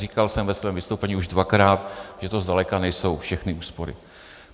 Říkal jsem ve svém vystoupení už dvakrát, že to zdaleka nejsou všechny úspory.